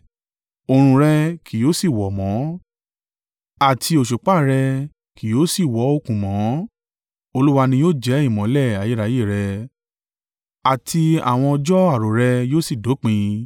Òòrùn rẹ kì yóò sì wọ̀ mọ́, àti òṣùpá rẹ kì yóò sì wọ òòkùn mọ́; Olúwa ni yóò jẹ́ ìmọ́lẹ̀ ayérayé rẹ, àti àwọn ọjọ́ arò rẹ yóò sì dópin.